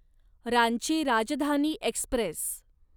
Ranchi Rajdhani Express